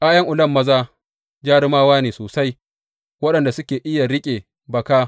’Ya’yan Ulam maza jarumawa ne sosai waɗanda suke iya riƙe baka.